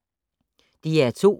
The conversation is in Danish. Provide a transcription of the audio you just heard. DR2